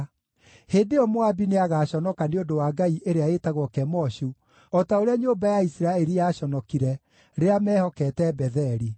“Hĩndĩ ĩyo Moabi nĩagaconoka nĩ ũndũ wa ngai ĩrĩa ĩtagwo Kemoshu, o ta ũrĩa nyũmba ya Isiraeli yaconokire, rĩrĩa meehokete Betheli.